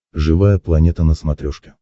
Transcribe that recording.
живая планета на смотрешке